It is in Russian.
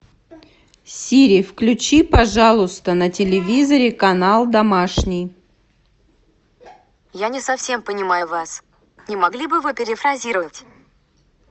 сири включи пожалуйста на телевизоре канал домашний